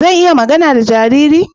Zan iya magana da jariri?